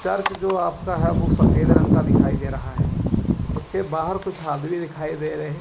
Church जो आपका है वो सफेद रंग का दिखाई दे रहा है उसके बाहर कुछ आदमी दिखाई दे रहे हैं।